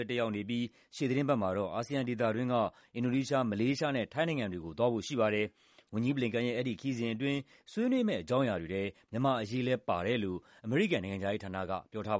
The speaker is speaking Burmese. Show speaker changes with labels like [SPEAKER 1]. [SPEAKER 1] း တက်ရောက်နေပြီး ရှေ့သီတင်းပတ်မှာတော့ အာဆီယံဒေသတွင်းက အင်ဒိုနီးရှား၊ မလေးရှားနဲ့ ထိုင်းနိုင်ငံတွေကို သွားဖို့ရှိပါတယ်။ ဝန်ကြီး Blinken ရဲ့ အဲဒီခရီးစဉ်အတွင်း ဆွေးနွေးမယ့် အကြောင်းအရာတွေထဲ မြန်မာ့အရေးလည်း ပါတယ်လို့ နိုင်ငံခြားရေးဌာနက ပြောထား